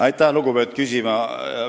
Aitäh, lugupeetud küsija!